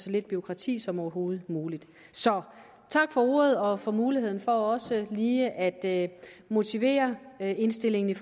lidt bureaukrati som overhovedet muligt så tak for ordet og for muligheden for også lige at motivere indstillingen